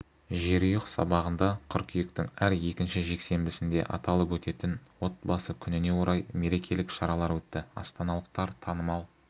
жерұйық саябағында қыркүйектің әр екінші жексенбісінде аталып өтетін отбасы күніне орай мерекелік шаралар өтті астаналықтар танымал